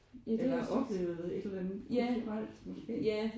Eller oplevet et eller andet kulturelt måske?